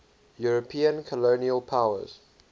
european colonial powers